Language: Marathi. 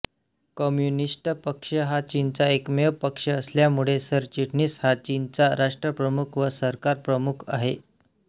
कम्युनिस्ट पक्ष हा चीनचा एकमेव पक्ष असल्यामुळे सरचिटणीस हा चीनचा राष्ट्रप्रमुख व सरकारप्रमुख आहे